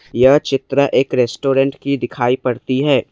यह चित्र एक रेस्टोरेंट की दिखाई पड़ती है।